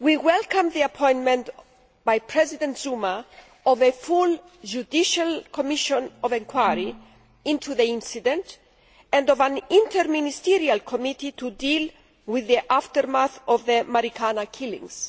We welcome the appointment by President Zuma of a full judicial commission of inquiry into the incident and of an interministerial committee to deal with the aftermath of the Marikana killings.